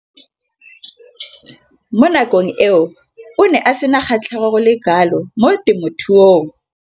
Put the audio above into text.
Mo nakong eo o ne a sena kgatlhego go le kalo mo temothuong.